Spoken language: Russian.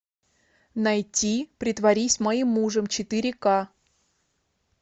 найти притворись моим мужем четыре ка